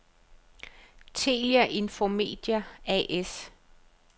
Telia InfoMedia A/S